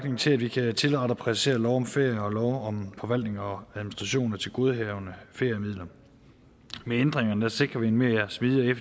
til at vi kan tilrette og præcisere lov om ferie og lov om forvaltning og administration af tilgodehavende feriemidler med ændringerne sikrer vi en mere smidig og